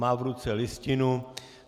Má v ruce listinu.